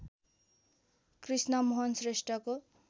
Krishnamohan श्रेष्ठको